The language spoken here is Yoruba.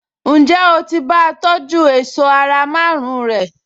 Ǹjẹ́ o ti bá a tọjú èṣọ́ ara márùn-ún rẹ̀?